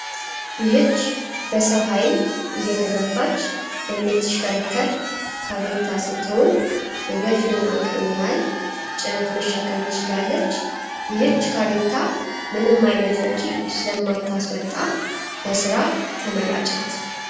ይህች በሰው ሃይል እየተገፋች የምትሽከረከር ካሬታ ስትሆን የ ገፊውን አቅም ያህል ጭነት መሸከም ትችላለች። ይህች ካሬታ ምንም አይነት ወጨ ስለማጣስወጣ ለስራ ተመራጭ ናት።